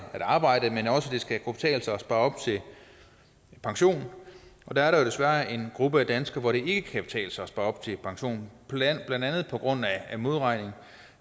at arbejde men også at det skal kunne betale sig at spare op til pension der er der jo desværre en gruppe af danskere hvor det ikke kan betale sig at spare op til pension blandt andet på grund af modregning